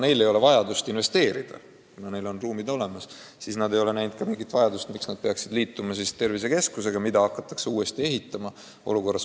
Neil ei ole vajadust investeerida, neil on ruumid olemas – miks nad peaksid liituma tervisekeskusega, mida hakatakse ehitama.